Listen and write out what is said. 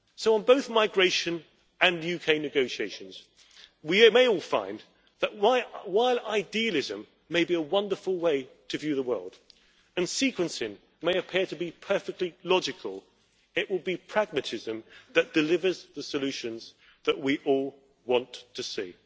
On both migration and UK negotiations, we may all find that while idealism may be a wonderful way to view the world and sequencing may appear to be perfectly logical, it will be pragmatism that delivers the solutions that we all want to see.